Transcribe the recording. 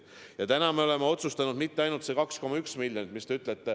Ja tänaseks me oleme otsustanud, et me ei eralda mitte ainult selle 2,1 miljonit, nagu te ütlesite.